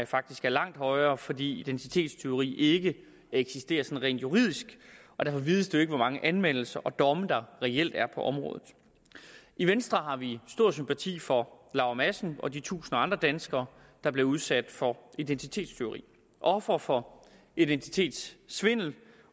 faktisk er langt højere fordi identitetstyveri ikke eksisterer rent juridisk og derfor vides det jo ikke hvor mange anmeldelser og domme der reelt er på området i venstre har vi stor sympati for laura madsen og de tusinder af andre danskere der bliver udsat for identitetstyveri ofre for identitetssvindel